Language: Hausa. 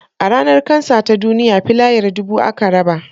A Ranar kansa ta duniya filayar dubu aka raba